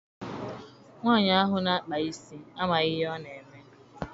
Nwaanyi ahụ na-akpa isi amaghị ihe ọ na-eme.